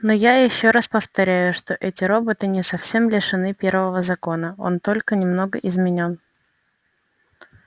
но я ещё раз повторяю что эти роботы не совсем лишены первого закона он только немного изменён